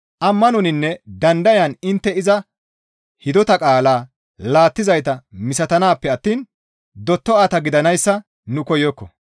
Ammanoninne dandayan intte iza hidota qaalaa laattizayta misatanaappe attiin dotta7ata gidanayssa nu koyokko.